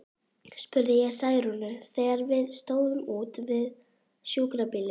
spurði ég Særúnu, þegar við stóðum úti við sjúkrabílinn.